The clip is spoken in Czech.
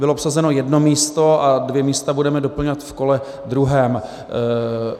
Bylo obsazeno jedno místo a dvě místa budeme doplňovat v kole druhém.